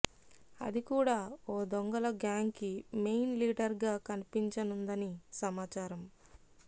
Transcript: అది కూడా ఓ దొంగల గ్యాంగ్ కి మెయిన్ లీడర్ గా కనిపించనుందని సమాచారం